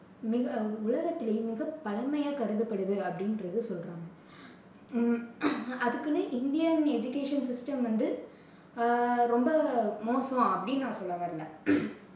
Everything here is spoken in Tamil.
மிக, உலகத்திலேயே மிகப் பழமையா கருதப்படுது அப்படின்றது சொல்றாங்க. ஹம் அதுக்குன்னு இந்தியன் education system வந்து அஹ் ரொம்ப மோசம் அப்படின்னு நான் சொல்ல வரலை.